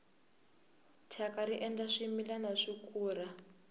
thyaka ri endla swimilana swi kura